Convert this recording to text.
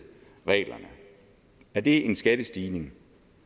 er det en skattestigning